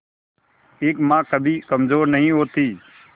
एक मां कभी कमजोर नहीं होती